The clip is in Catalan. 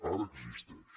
ara existeix